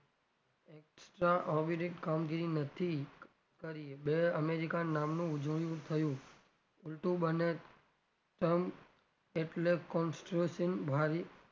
અવિરિત કામગીરી નથી કરી america નામનું થયું ઉલટું એટલે ભારી,